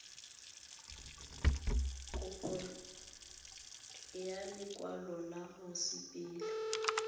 kopo ya lekwalo la mosepele